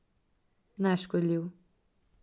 Neškodljiv.